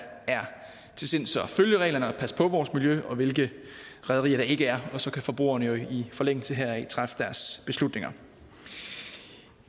er til sinds at følge reglerne og passe på vores miljø og hvilke rederier der ikke er og så kan forbrugerne jo i forlængelse heraf træffe deres beslutninger